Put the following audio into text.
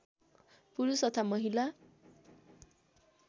पुरुष तथा महिला